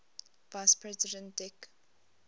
vice president dick